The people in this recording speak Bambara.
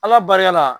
Ala barika la